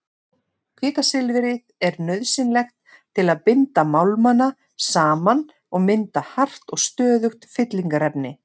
Kvikasilfrið er nauðsynlegt til að binda málmana saman og mynda hart og stöðugt fyllingarefni.